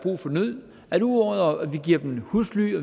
nød at udover at vi giver dem husly